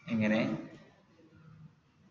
എങ്ങനെ